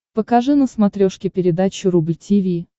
покажи на смотрешке передачу рубль ти ви